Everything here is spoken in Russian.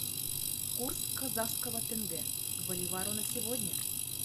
курс казахского тенге к боливару на сегодня